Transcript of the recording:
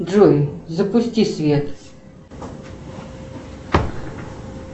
джой запусти свет